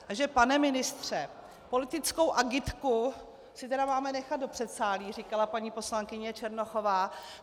Takže pane ministře, politickou agitku si tedy máme nechat do předsálí, říkala paní poslankyně Černochová.